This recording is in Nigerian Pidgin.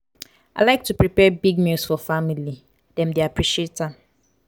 i like to prepare big meals for family; dem dey appreciate am.